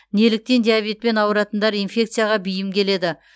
неліктен диабетпен ауыратындар инфекцияға бейім келеді